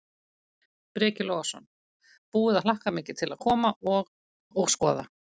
Breki Logason: Búið að hlakka mikið til að koma og, og skoða?